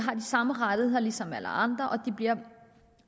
samme rettigheder som alle andre og